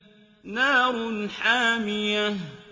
نَارٌ حَامِيَةٌ